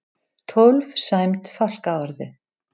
Tólf sæmd fálkaorðu